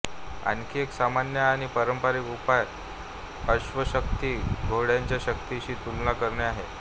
आणखी एक सामान्य आणि पारंपारिक उपाय अश्वशक्ती घोड्याच्या शक्तीशी तुलना करणे आहे